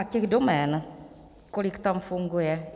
A těch domén, kolik tam funguje...